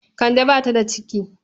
Kande ba ta da ciki.